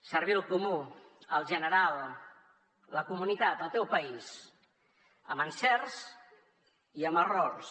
servir el comú el general la comunitat el teu país amb encerts i amb errors